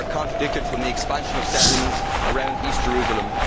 They are contradicted by the expansion of settlements around East Jerusalem.